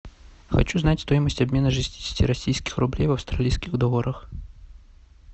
хочу знать стоимость обмена шестидесяти российских рублей в австралийских долларах